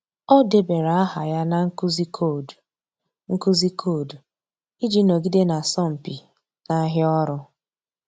Ọ́ débara áhà ya na nkuzi koodu nkuzi koodu iji nọgide n’ásọ́mpi n’áhịa ọ́rụ́.